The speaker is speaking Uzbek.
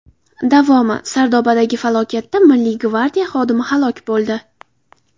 Davomi: Sardobadagi falokatda Milliy gvardiya xodimi halok bo‘ldi.